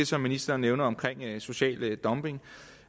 som ministeren nævner om social dumping